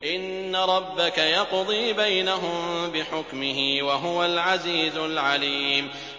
إِنَّ رَبَّكَ يَقْضِي بَيْنَهُم بِحُكْمِهِ ۚ وَهُوَ الْعَزِيزُ الْعَلِيمُ